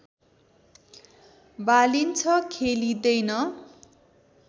बालिन्छ खेलिँदैन